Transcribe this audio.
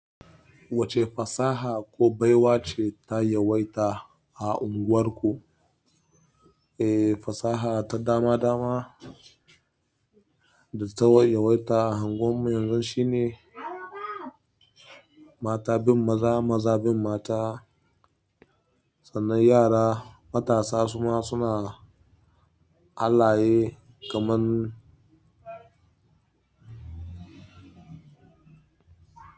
Wacce fasaha ko baiwa ce ta yawaita a unguwarku? Eh, fasaha ta dama-dama da ta yawaita a unguwar mu yanzu shine mata bin maza, maza bin mata, sannan yara matasa suma suna halaye kamar.